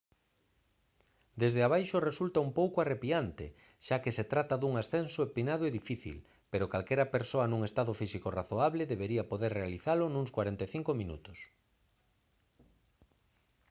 desde abaixo resulta un pouco arrepiante xa que se trata dun ascenso empinado e difícil pero calquera persoa nun estado físico razoable debería poder realizalo nuns 45 minutos